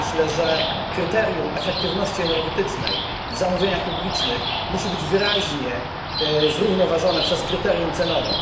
Myślę, że kryterium efektywności energetycznej w zamówieniach publicznych musi być wyraźnie zrównoważone przez kryterium cenowe.